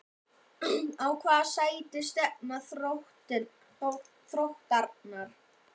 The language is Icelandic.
Á hvaða sæti stefna Þróttarar?